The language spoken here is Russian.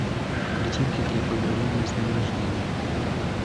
картинки для поздравления с днем рождения